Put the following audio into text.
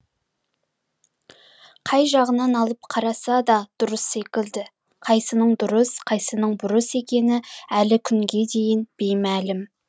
қай жағынан алып қараса да дұрыс секілді қайсының дұрыс қайсының бұрыс екені әлі күнге дейін беймәлім